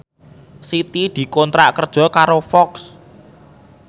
Siti dikontrak kerja karo Fox